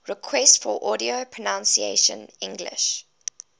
requests for audio pronunciation english